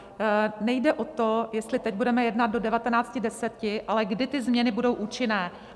Nejde o to, jestli teď budeme jednat do 19.10, ale kdy ty změny budou účinné.